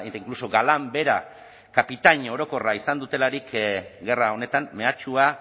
inkluso galán bera kapitain orokorra izan dutelarik gerra honetan mehatxua